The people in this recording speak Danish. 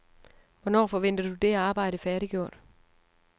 Hvornår forventer du det arbejde færdiggjort?